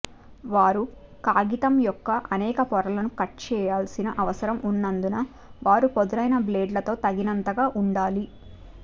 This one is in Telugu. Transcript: వారు కాగితం యొక్క అనేక పొరలను కట్ చేయాల్సిన అవసరం ఉన్నందున వారు పదునైన బ్లేడులతో తగినంతగా ఉండాలి